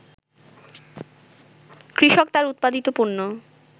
কৃষক তার উৎপাদিত পণ্য